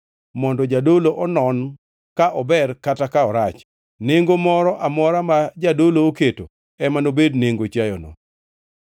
mondo jadolo onon ka ober kata ka orach. Nengo moro amora ma jadolo oketo ema nobed nengo chiayono.